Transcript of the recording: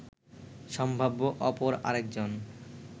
সম্ভাব্য অপর আরেকজন